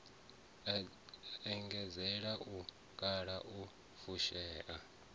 anzela u kala u fushea